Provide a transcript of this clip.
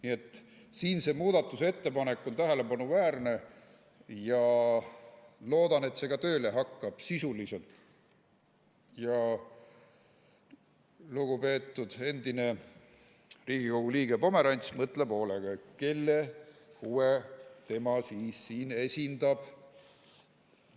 Nii et siin see muudatusettepanek on tähelepanuväärne ja loodan, et see hakkab tööle, sisuliselt, ja lugupeetud endine Riigikogu liige Pomerants mõtleb hoolega, kelle huve tema siis esindab.